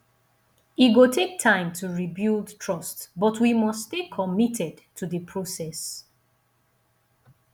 e go take time to rebuild trust but we must stay committed to the process